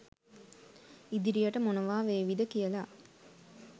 ඉදිරියට මොනවා වේවිද කියලා